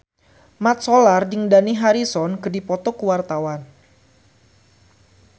Mat Solar jeung Dani Harrison keur dipoto ku wartawan